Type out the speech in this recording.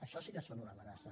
això sí que és una amenaça